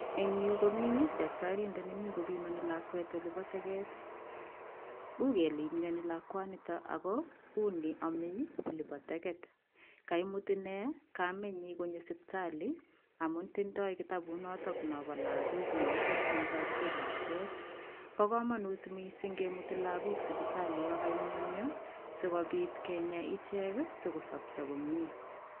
Eng yu komi daktarindet nemi kopimoni lakwet olipo teket. U kele imioni lakwanito ako uni omei olepo taket kaimut ine kamenyi konyo sipitali amun tindoi kitabut notok nopo lagok nokisirchin kokakisich lakwet. Po komonut mising kemuti lagok sipitali yokaimyenyo sikobit kenya ichek sikosopcho komie.